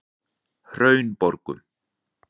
Hraunborgum